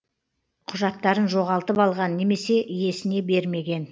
құжаттарын жоғалтып алған немесе иесіне бермеген